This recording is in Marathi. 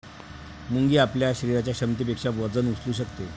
मुंगी आपल्या शरीराच्या क्षमतेपेक्षा वजन उचलू शकते